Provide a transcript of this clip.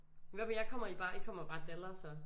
Hvad med jer I kommer bare I kommer bare dalre så